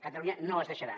catalunya no es deixarà